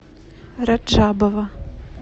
раджабова